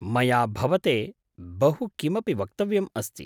मया भवते बहु किमपि वक्तव्यम् अस्ति।